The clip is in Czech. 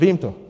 Vím to.